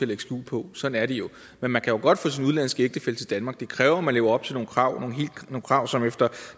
lægge skjul på sådan er det jo men man kan jo godt få sin udenlandske ægtefælle til danmark det kræver at man lever op til nogle krav nogle krav som efter